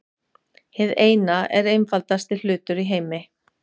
Hið Eina er einfaldasti hlutur í heimi.